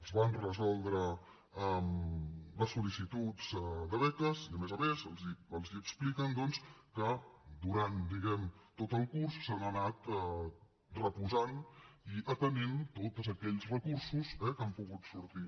es van resoldre les sol·licituds de beques i a més a més els expliquen doncs que durant diguem ne tot el curs s’han anat reposant i atenent tots aquells recursos eh que han pogut sortir